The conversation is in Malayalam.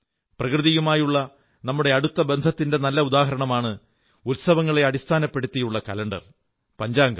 പ്രകൃതിയുമായുള്ള നമ്മുടെ അടുത്ത ബന്ധത്തിന്റെ ഒരു നല്ല ഉദാഹരണമാണ് ഉത്സവങ്ങളെ അടിസ്ഥാനപ്പെടുത്തിയുള്ള കലണ്ടർ പഞ്ചാംഗം